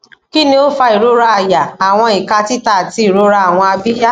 kini o fa irora àyà awọn ika tita ati irora awọn abiya